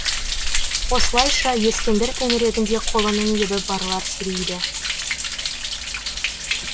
осылайша ескендір төңірегінде қолының ебі барлар сирейді